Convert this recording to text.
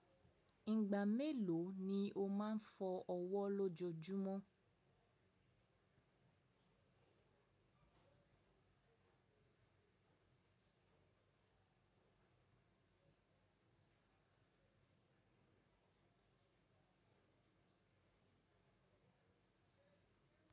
Ìgbà mélòó ni o máa ń fọ ọwọ́ lójojúmọ́?